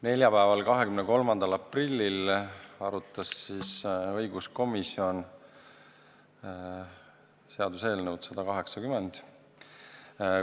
Neljapäeval, 23. aprillil arutas õiguskomisjon seaduseelnõu 180.